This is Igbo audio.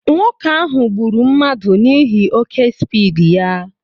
Nwoke ahụ gburu mmadụ n'ihi oké spiidi ya